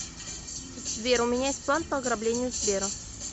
сбер у меня есть план по ограблению сбера